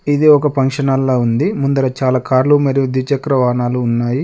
ఇది ఒక function hall లా ఉంది ముందర చాలా కార్లు మరియు ద్విచక్ర వాహనాలు ఉన్నాయి.